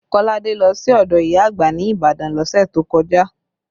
Kolade lọ sí ọdọ ìyá àgbà ní Ibadan lọ́sẹ̀ tó kọjá